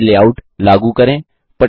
slide में layout लागू करें